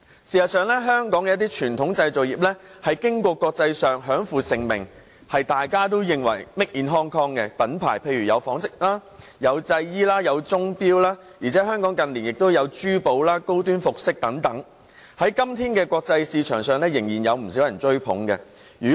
事實上，香港一些傳統製造業在國際上享負盛名，大家也認識 "Made in Hong Kong" 的品牌，例如紡織、製衣及鐘錶，而香港近年亦有珠寶、高端服裝等，在國際市場上，今天仍然有不少人追捧。